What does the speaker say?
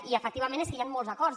i efectivament és que hi han molts acords